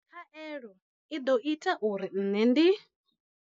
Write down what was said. Khaelo i ḓo ita uri nṋe ndi.